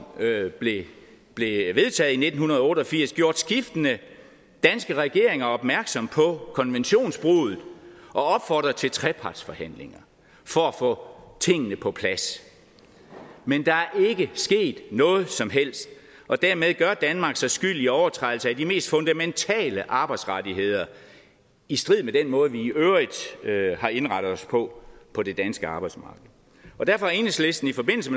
blev vedtaget i nitten otte og firs gjort skiftende danske regeringer opmærksom på konventionsbruddet og opfordret til trepartsforhandlinger for at få tingene på plads men der er ikke sket noget som helst og dermed gør danmark sig skyldig i overtrædelse af de mest fundamentale arbejdsrettigheder i strid med den måde vi i øvrigt har indrettet os på på det danske arbejdsmarked derfor har enhedslisten i forbindelse